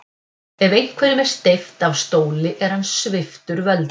Ef einhverjum er steypt af stóli er hann sviptur völdum.